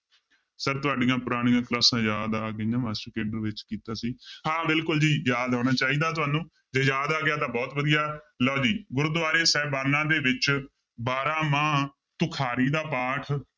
Sir ਤੁਹਾਡੀਆਂ ਪੁਰਾਣੀਆਂ ਕਲਾਸਾਂ ਯਾਦ ਆ ਗਈਆਂ ਮਾਸਟਰ ਕੇਡਰ ਵਿੱਚ ਕੀਤਾ ਸੀ ਹਾਂ ਬਿਲਕੁਲ ਜੀ ਯਾਦ ਹੋਣਾ ਚਾਹੀਦਾ ਤੁਹਾਨੂੰ ਜੇ ਯਾਦ ਆ ਗਿਆ ਤਾਂ ਬਹੁਤ ਵਧੀਆ, ਲਓ ਜੀ ਗੁਰਦੁਆਰੇ ਸਾਹਿਬਾਨਾਂ ਦੇ ਵਿੱਚ ਬਾਰਾਂਮਾਂਹ ਤੁਖਾਰੀ ਦਾ ਪਾਠ